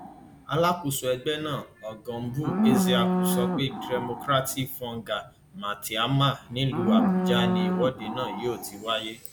alákòóso ẹgbẹ náà ọgọngbù ezeaku sọ pé democratic foggia maitama nílùú àbújá ni ìwọde náà yóò ti wáyé